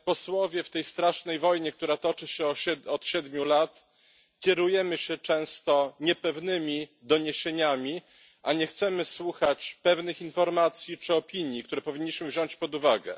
W tej strasznej wojnie, która toczy się od siedmiu lat, kierujemy się często niepewnymi doniesieniami, a nie chcemy słuchać pewnych informacji czy opinii, które powinniśmy wziąć pod uwagę.